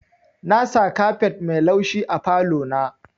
Nasa kafet mai laushi a falo na.